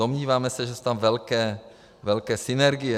Domnívám se, že jsou tam velké synergie.